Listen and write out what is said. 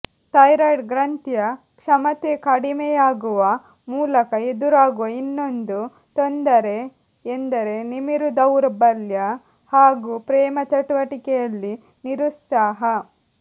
thyroid ಗ್ರಂಥಿಯ ಕ್ಷಮತೆ ಕಡಿಮೆಯಾಗುವ ಮೂಲಕ ಎದುರಾಗುವ ಇನ್ನೊಂದು ತೊಂದರೆ ಎಂದರೆ ನಿಮಿರು ದೌರ್ಬಲ್ಯ ಹಾಗೂ ಪ್ರೇಮಚಟುವಟಿಕೆಯಲ್ಲಿ ನಿರುತ್ಸಾಹ